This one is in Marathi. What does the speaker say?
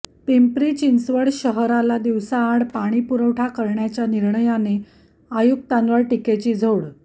पिंपरी चिंचवड शहराला दिवसाआड पाणीपुरवठा करण्याच्या निर्णयाने आयुक्तांवर टिकेची झोड